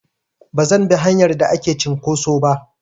Bazan bi hanyar da ake cinƙoso ba.